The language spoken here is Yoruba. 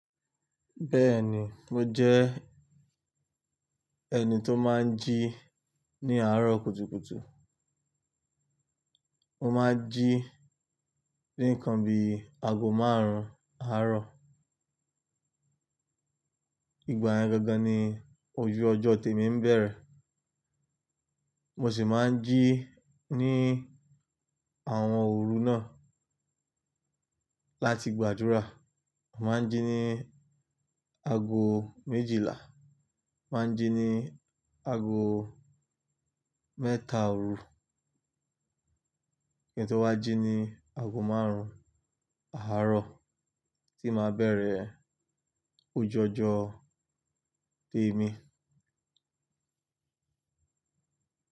Bẹ́ẹ̀ni, mo jẹ́ ẹni tó máa ń jí ní àárọ̀ kùtùkùtù. Mo máa ń jí ní ǹkan bí ago márùn-ún àárọ̀. Ìgbà yeni gangan ni ojú ọjọ́ tèmi ń bẹ̀rẹ̀. Mo sì máa ń jí ní àwọn òru náà láti gbàdúrà. Mo máa ń jí ní ago méjìlá, máa ń jí ní ago mẹ́ta òru, kí n tó wá jí ní ago márùn-ún àárọ̀ tí máa bẹ̀rẹ̀ ojú ọjọ́ tèmi.